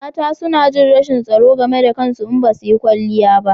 Mata suna jin rashin tsaro game da kansu in basu yi kwanliya ba